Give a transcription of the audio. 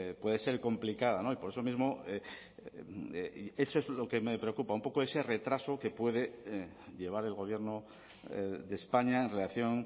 puede ser complicada y por eso mismo eso es lo que me preocupa un poco ese retraso que puede llevar el gobierno de españa en relación